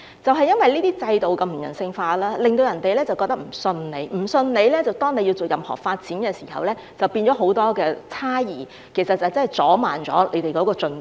正因為這些制度如此不人性化，令市民無法相信政府；基於市民不信任政府，政府在作出任何發展時，市民都會有很多猜疑，這亦會阻慢了發展進度。